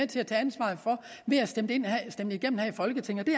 til at tage ansvaret for ved at stemme dem igennem her i folketinget det